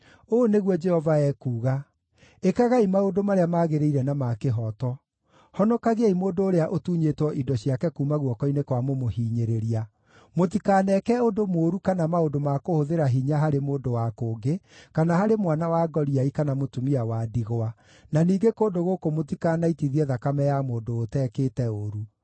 Ũũ nĩguo Jehova ekuuga: Ĩkagai maũndũ marĩa magĩrĩire na ma kĩhooto. Honokagiai mũndũ ũrĩa ũtunyĩtwo indo ciake kuuma guoko-inĩ kwa mũmũhinyĩrĩria. Mũtikaneeke ũndũ mũũru kana maũndũ ma kũhũthĩra hinya harĩ mũndũ wa kũngĩ, kana harĩ mwana wa ngoriai kana mũtumia wa ndigwa, na ningĩ kũndũ gũkũ mũtikanaitithie thakame ya mũndũ ũtekĩte ũũru.